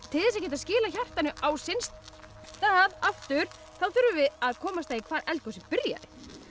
til þess að geta skilað hjartanu á sinn stað aftur þurfum við að komast að því hvar eldgosið byrjaði